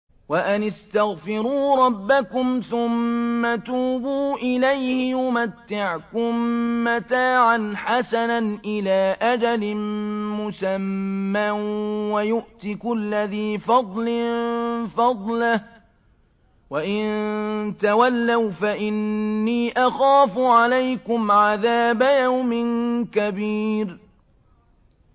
وَأَنِ اسْتَغْفِرُوا رَبَّكُمْ ثُمَّ تُوبُوا إِلَيْهِ يُمَتِّعْكُم مَّتَاعًا حَسَنًا إِلَىٰ أَجَلٍ مُّسَمًّى وَيُؤْتِ كُلَّ ذِي فَضْلٍ فَضْلَهُ ۖ وَإِن تَوَلَّوْا فَإِنِّي أَخَافُ عَلَيْكُمْ عَذَابَ يَوْمٍ كَبِيرٍ